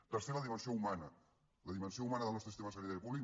tercera dimensió humana la dimensió humana del nostre sistema sanitari públic